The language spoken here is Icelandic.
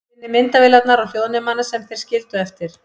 Finnið myndavélarnar og hljóðnemana sem þeir skildu eftir.